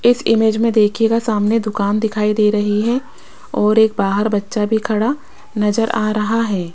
इस इमेज में देखिएगा सामने दुकान दिखाई दे रही है और एक बाहर बच्चा भी खड़ा नजर आ रहा है।